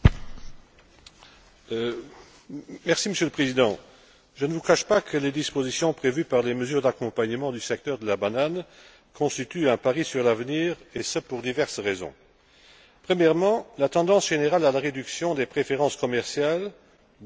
Monsieur le Président, je ne vous cache pas que les dispositions prévues par les mesures d'accompagnement du secteur de la banane constituent un pari sur l'avenir, et ce pour diverses raisons. Premièrement, la tendance générale à la réduction des préférences commerciales, dont ont profité jusqu'à maintenant les pays ACP,